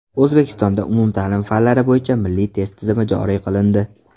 O‘zbekistonda umumta’lim fanlari bo‘yicha milliy test tizimi joriy qilindi.